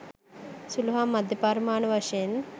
සුළු හා මධ්‍ය පරිමාණ වශයෙන්